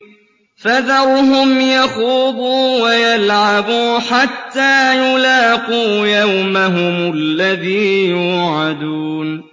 فَذَرْهُمْ يَخُوضُوا وَيَلْعَبُوا حَتَّىٰ يُلَاقُوا يَوْمَهُمُ الَّذِي يُوعَدُونَ